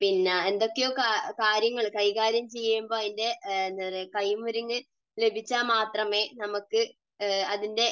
പിന്നെ എന്തൊക്കെയോ കാര്യങ്ങൾ കൈകാര്യം ചെയ്യുമ്പോൾ അതിന്റെ കൈമരുങ്ങ് ലഭിച്ചാൽ മാത്രമേ നമുക്ക് അതിന്റെ